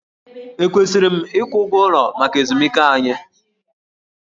Ekwesịrị m ịgwụ ụgwọ ụlọ maka ezumike anyị?